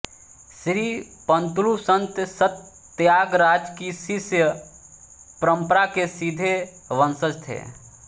श्री पंतुलू संत त्यागराज की शिष्य परम्परा के सीधे वंशज थे